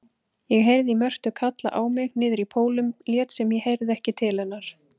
Ég heyrði Mörtu kalla á mig niðrí Pólum lét sem ég heyrði ekki til hennar.